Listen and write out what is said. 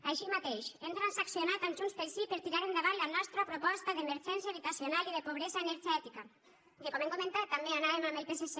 així mateix hem transaccionat amb junts pel sí per tirar endavant la nostra proposta d’emergència habitacional i de pobresa energètica en què com hem comentat també anàvem amb el psc